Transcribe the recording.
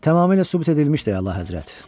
Tamamilə sübut edilmişdi, Əlahəzrət.